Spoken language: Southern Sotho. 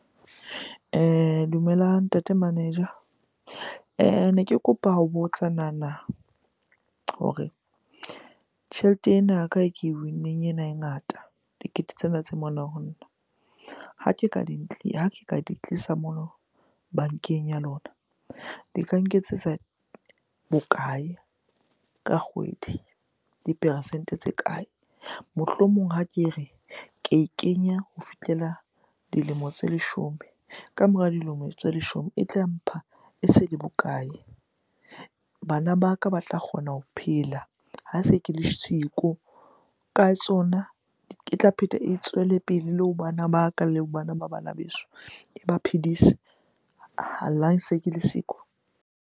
Dumelang Ntate Manager. Ne ke kopa ho botsa nana hore tjhelete ena ya ka e ke win-neng ena e ngata, dikete tsena tse mona ho nna. Ha ke ka di tlisa mono bankeng ya lona di ka nketsetsa bokae ka kgwedi? Diperesente tse kae? Mohlomong ha ke re, ke e kenya ho fihlela dilemo tse leshome. Ka mora dilemo tse leshome e tla mpha e se le bokae? Bana ba ka ba tla kgona ho phela ha se ke le siko ka tsona, e tla pheta e tswele pele le ho bana ba ka, le ho bana ba bana beso e ba phedise. Ha se ke le siko.